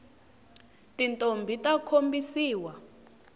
tintombhi ta khombisiwa